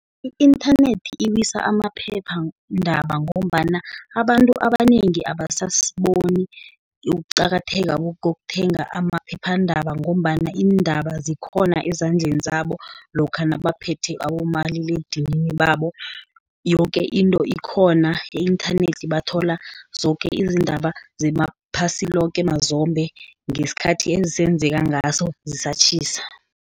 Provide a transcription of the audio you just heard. I-inthanethi iwisa amaphephandaba, ngombana abantu abanengi ababoni ukuqakatheka kokuthenga amaphephandaba, ngombana iindaba zikhona ezandleni zabo, lokha nabaphethe abomaliledinini babo, yoke into ikhona. E-inthanethi bathola zoke izindaba zemaphasi loke mazombe, ngesikhathi ezenzeka ngaso zisatjhisa.